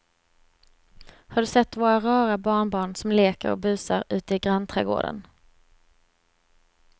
Har du sett våra rara barnbarn som leker och busar ute i grannträdgården!